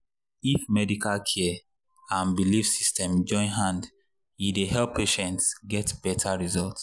if medical care and belief system join hand e dey help patients get better result.